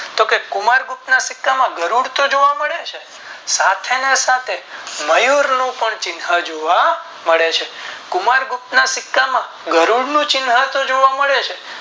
તો કે કુમાર ગુપ્તા ના સિક્કામાં ગરુડ તો જોવા મળે છે સાથે ને સાથે મયુર નું ચિન્હ પણ જોવા મળે છે કુમાર ગુપ્ત ના સિક્કા માં ગરુડ નું ચિન્હ તો જોવા મળે છે.